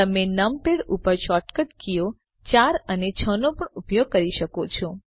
તમે નમપેડ ઉપર shortcut કીઓ 4 અને 6 નો પણ ઉપયોગ કરી શકો છો